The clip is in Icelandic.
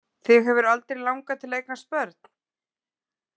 Þig hefur aldrei langað til að eignast börn?